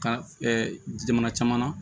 Ka jamana caman na